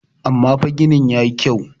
amma fa gini ya yi kyau